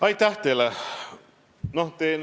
Aitäh teile!